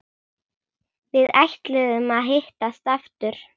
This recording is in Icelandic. Við ætluðum að hittast aftur.